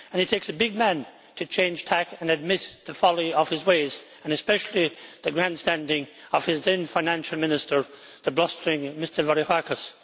It takes a big man to change tack and admit the folly of his ways, and especially the grandstanding of his then Finance Minister, the blustering Mr Varoufakis.